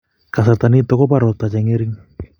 Kasarta nitok ko bo rapta che ng'ering